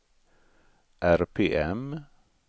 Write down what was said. RPM